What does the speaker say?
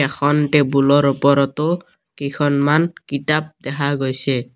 এখন টেবুলৰ ওপৰতো কেইখনমান কিতাপ দেখা গৈছে।